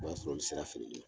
O b'a sɔrɔ olu sera feereli ye.